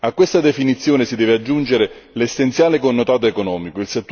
A questa definizione si deve aggiungere l'essenziale connotato economico.